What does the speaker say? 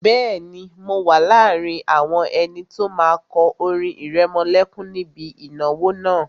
Bẹ́ẹ̀ni, mo wà láàrin àwọn ẹni tó máa kọ orin ìrẹmọlẹ́kún níbi ìnáwó náà